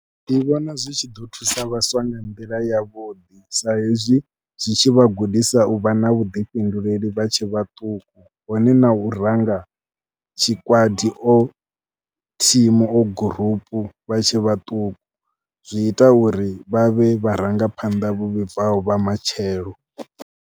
Ndi vhona zwi tshi ḓo thusa vhaswa nga nḓila yavhuḓi sa hezwi zwi tshi vha gudisa u vha na vhuḓifhinduleli vha tshe vhaṱuku hone na u ranga tshikwati or thimu or gurupu vha tshe vhaṱuku, zwi ita uri vha vhe vharangaphanḓa vho vhibvaho vha matshelo.